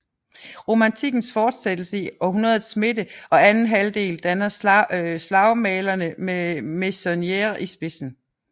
Romantikkens fortsættelse i århundredets midte og anden halvdel danner slagmalerne med Meissonnier i spidsen